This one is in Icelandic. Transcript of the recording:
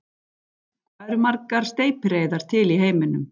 Hvað eru margar steypireyðar til í heiminum?